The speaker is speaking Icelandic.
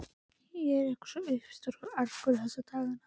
Ég er eitthvað svo uppstökkur og argur þessa dagana.